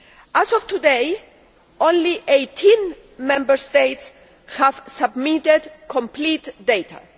As of today, only 18 Member States have submitted complete data.